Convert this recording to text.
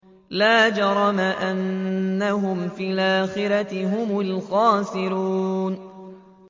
لَا جَرَمَ أَنَّهُمْ فِي الْآخِرَةِ هُمُ الْخَاسِرُونَ